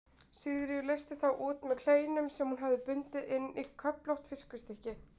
Sigríður leysti þá út með kleinum sem hún hafði bundið inn í köflótt viskustykki.